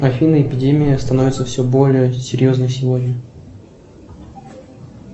афина эпидемия становится все более серьезной сегодня